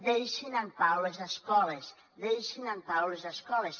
deixin en pau les escoles deixin en pau les escoles